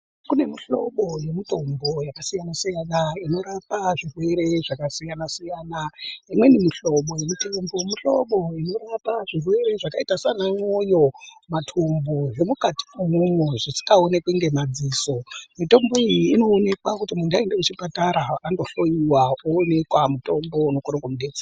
Kune mihlobo yemitombo yakasiyana-siyana inorapa zvirwere zvakasiya-siyana. Imweni mihlobo yemitombo mihlobo inorapa zvirwere zvakaita sana mwoyo, matumbu zvemukati mwomwo zvisikaonekwi ngemadziso. Mitombo iyi inoonekwa kuti muntu aenda kuchipatara ondohloiwa oonekwa mutombo unokona kumubetsera.